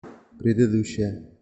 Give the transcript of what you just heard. предыдущая